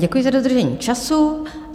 Děkuji za dodržení času.